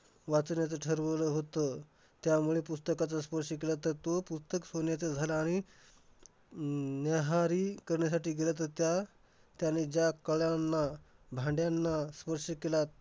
वाचण्याचं ठरवलं होतं. त्यामुळे पुस्तकाला स्पर्श केला तर, तो पुस्तक सोन्याचं झालं. आणि न्याहारी करण्यासाठी गेला तर त्या~ त्याने ज्या कढयांना, भांड्याना स्पर्श केला त्या